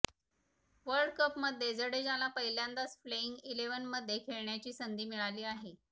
world कपमध्ये जडेजाला पहिल्यांदाच प्लेइंग इलेव्हनमध्ये खेळण्याची संधी मिळाली आहे